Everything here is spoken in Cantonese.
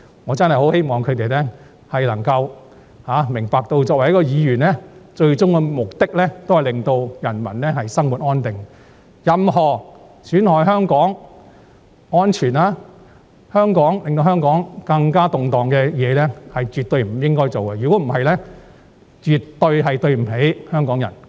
我真的很希望他們能夠明白到，作為議員的最終職責是令人民生活安定，絕不應做任何損害香港的安全，以及會令香港更動盪的事情，否則便絕對不起香港人。